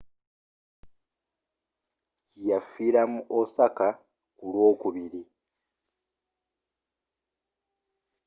yafiira mu osaka ku lw'okubiri